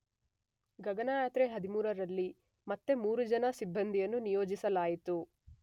ಗಗನಯಾತ್ರೆ 13 ರಲ್ಲಿ ಮತ್ತೆ ಮೂರು ಜನ ಸಿಬ್ಬಂದಿಯನ್ನು ನಿಯೋಜಿಸಲಾಯಿತು.